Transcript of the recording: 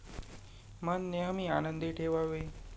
मन नेहमी आनंदी ठेवावे.